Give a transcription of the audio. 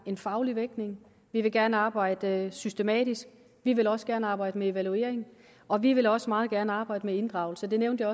en faglig vægtning vi vil gerne arbejde systematisk vi vil også gerne arbejde med evaluering og vi vil også meget gerne arbejde med inddragelse det nævnte